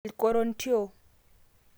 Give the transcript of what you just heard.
(Irkorontio)